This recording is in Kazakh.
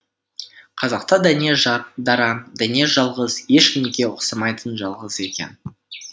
қазақта дәнеш дара дәнеш жалғыз ешкімге ұқсамайтын жалғыз екен